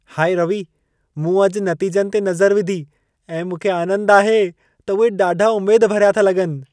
High Ravi, मूं अॼि नतीजनि ते नज़र विधी ऐं मूंखे आनंद आहे त उहे ॾाढा उमेद भरिया था लॻनि।